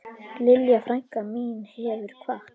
Lilja frænka mín hefur kvatt.